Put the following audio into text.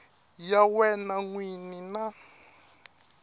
ya yena n wini na